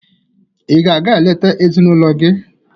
Ị ga-aga eleta ezinụlọ gị?